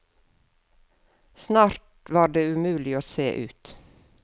Snart var det umulig å se ut.